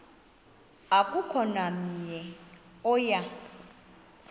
akukho namnye oya